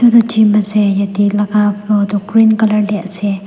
etu jim ase yate laga floor toh green colour teh ase.